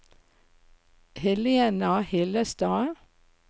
Helena Hillestad